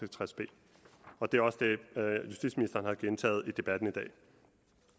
og tres b og det er også det justitsministeren har gentaget i debatten i dag